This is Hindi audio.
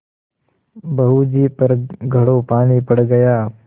बहू जी पर घड़ों पानी पड़ गया